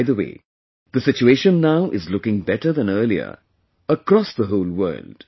By the way, the situation now is looking better than earlier across the whole world